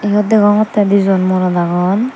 iyut degongotte dijon morot agon.